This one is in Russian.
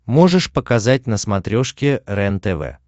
можешь показать на смотрешке рентв